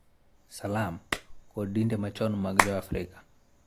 Salam, kod dinde machon mag Joafrika,